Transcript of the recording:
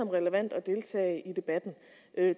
relevant at deltage i debatten